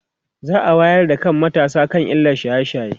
za'a wayar da kan matasa akan illar shaye shaye